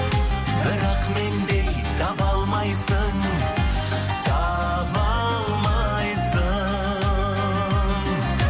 бірақ мендей таба алмайсың таба алмайсың